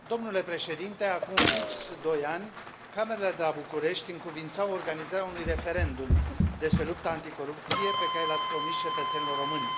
Domnule președinte, acum fix doi ani, Camerele de la București încuviințau organizarea unui referendum despre lupta anticorupție pe care l ați promis cetățenilor români.